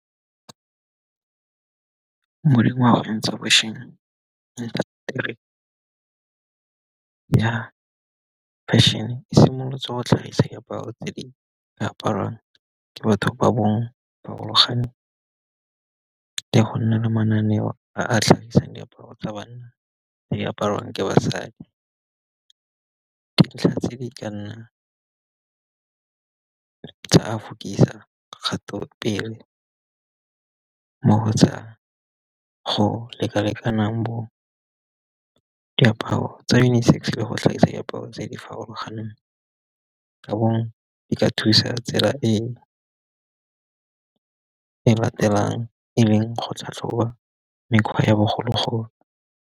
Mo dingwageng tsa bo fešhene e simolotse go tlhagisa diaparo tse di ka aparwang ke batho ba ba farologaneng. Ka go nna le mananeo a tlhagisang diaparo tsa banna tse di apariwang ke basadi. Dintlha tse di ka nnang tsa kgatopele go tsa go leka lekanang bo diaparo tsa unisex le go tlhagisa diaparo tse di farologaneng. Ka bongwe di ka thusa tsela e e latelang e leng go tlhatlhoba mekgwa ya bogologolo.